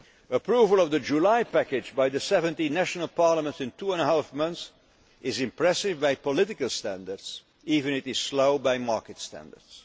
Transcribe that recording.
so speedily. Approval of the July package by the 17 national parliaments in two and a half months is impressive by political standards, even if it is slow by market